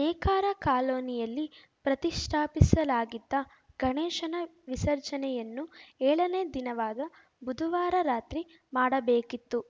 ನೇಕಾರ ಕಾಲೋನಿಯಲ್ಲಿ ಪ್ರತಿಷ್ಠಾಪಿಸಲಾಗಿದ್ದ ಗಣೇಶನ ವಿಸರ್ಜನೆಯನ್ನು ಏಳನೇ ದಿನವಾದ ಬುಧವಾರ ರಾತ್ರಿ ಮಾಡಬೇಕಿತ್ತು